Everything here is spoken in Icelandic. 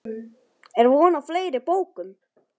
Er von á fleiri bókum?